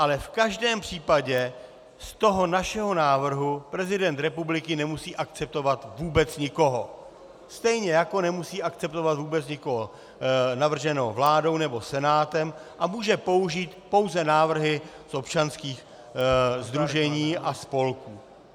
Ale v každém případě z toho našeho návrhu prezident republiky nemusí akceptovat vůbec nikoho, stejně jako nemusí akceptovat vůbec nikoho navrženého vládou nebo Senátem a může použít pouze návrhy z občanských sdružení a spolků.